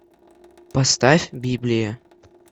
поставь библия